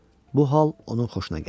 Bu hal onun xoşuna gəldi.